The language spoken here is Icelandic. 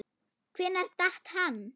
Hvenær datt hann?